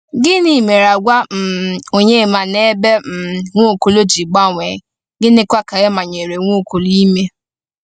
Gịnị mere àgwà um Onyema n’ebe um Nwaokolo ji gbanwee, gịnịkwa ka e manyere Nwaokolo ime?